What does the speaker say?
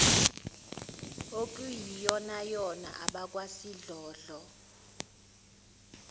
okuyiyonayona abakwa sidlodlo